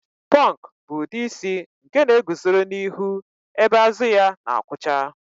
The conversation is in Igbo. Pọnk bụ ụdị isi nke na-eguzoro n'ihu ebe azụ ya na-akwụcha